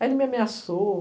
Aí ele me ameaçou.